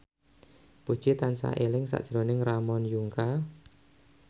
Puji tansah eling sakjroning Ramon Yungka